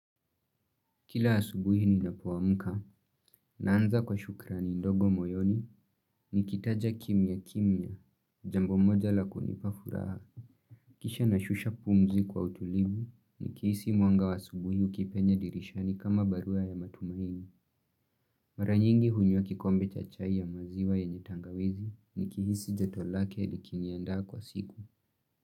Kila asubuhi ninapoamka, naanza kwa shukrani ndogo moyoni, nikitaja kimyakimya, jambo moja la kunipa furaha. Kisha nashusha pumzi kwa utulivu, nikihisi mwanga wa asubuhi ukipenya dirishani kama barua ya matumaini. Mara nyingi hunywa kikombe cha chai ya maziwa yenye tangawizi, nikihisi joto lake likiniandaa kwa siku.